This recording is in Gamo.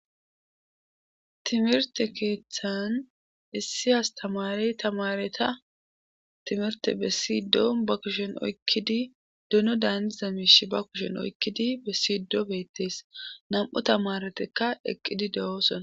Timirte keeththan issi astamari tamareta timirte be siido ba kushen oykkidi duno daani za miish ba kushen oykkidi be sido beettees nam7o tamaretekka eqqidi de7oosona